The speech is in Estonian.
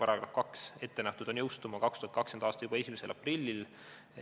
Paragrahv 2 on ette nähtud jõustuma juba 2020. aasta 1. aprillil.